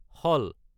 চাল